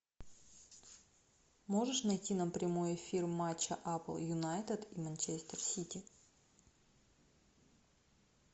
можешь найти нам прямой эфир матча апл юнайтед и манчестер сити